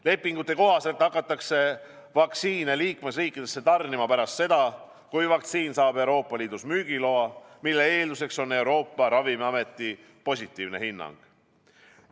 Lepingute kohaselt hakatakse vaktsiine liikmesriikidesse tarnima pärast seda, kui vaktsiin saab Euroopa Liidus müügiloa, mille eelduseks on Euroopa Ravimiameti positiivne hinnang.